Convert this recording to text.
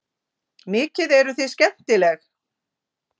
Mikið eruð þið skemmtileg!